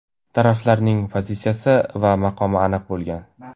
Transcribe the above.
Taraflarning pozitsiyasi va maqomi aniq bo‘lgan.